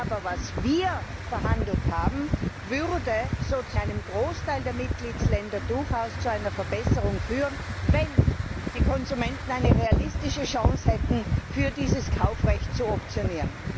Aber was wir verhandelt haben, würde in einem Großteil der Mitgliedsländer durchaus zu einer Verbesserung führen, wenn die Konsumenten eine realistische Chance hätten, für dieses Kaufrecht zu optieren.